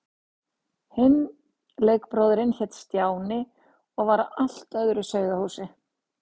Hinn leikbróðirinn hét Stjáni og var af öðru sauðahúsi.